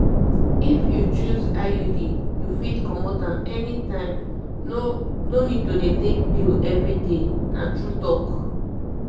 if you choose iud you fit comot am anytime no no need to dey take pill every day na true talk.